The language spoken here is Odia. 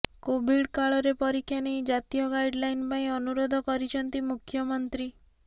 କୋଭିଡ୍ କାଳରେ ପରୀକ୍ଷା ନେଇ ଜାତୀୟ ଗାଇଡଲାଇନ୍ ପାଇଁ ଅନୁରୋଧ କରିଛନ୍ତି ମୁଖ୍ୟମନ୍ତ୍ରୀ